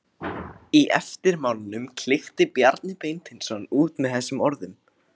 Í eftirmálanum klykkti Bjarni Beinteinsson út með þessum orðum